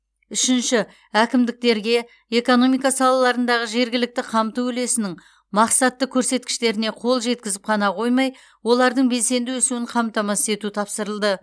үшінші әкімдіктерге экономика салаларындағы жергілікті қамту үлесінің мақсатты көрсеткіштеріне қол жеткізіп қана қоймай олардың белсенді өсуін қамтамасыз ету тапсырылды